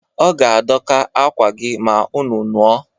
Ọ ga-adọka akwa gị ma unu nuo